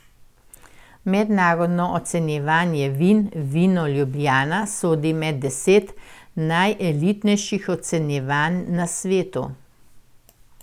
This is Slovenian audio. Mednarodno ocenjevanje vin Vino Ljubljana sodi med deset najelitnejših ocenjevanj na svetu.